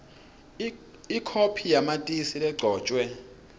ikhophi yamatisi legcotjwe